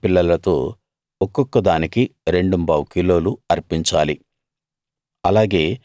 ఏడు గొర్రె పిల్లలతో ఒక్కొక్క దానికి రెండుంబావు కిలోలు అర్పించాలి